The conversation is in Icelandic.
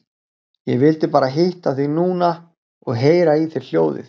Ég vildi bara hitta þig núna og heyra í þér hljóðið.